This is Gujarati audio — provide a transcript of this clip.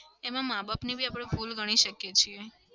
એમાં માં-બાપની બી આપણે ભૂલ ગણી શકીએ છીએ.